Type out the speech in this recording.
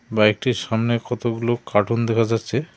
বাইকটির সামনে কতোগুলো কার্টুন দেখা যাচ্ছে।